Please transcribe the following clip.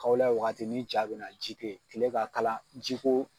Kawulɛ wagati nin ja bɛna, ji tɛ yen, kile ka kalan jiko